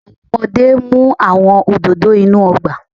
Awọn ọmọde mu awọn ododo inu ọgba